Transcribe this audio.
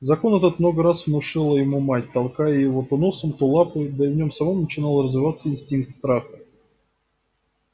закон этот много раз внушала ему мать толкая его то носом то лапой да и в нем самом начинал развиваться инстинкт страха